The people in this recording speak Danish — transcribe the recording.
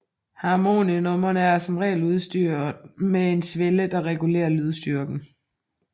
Harmoniummer er som regel udstyret med en svelle der regulerer lydstyrken